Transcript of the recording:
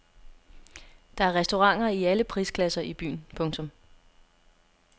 Der er restauranter i alle prisklasser i byen. punktum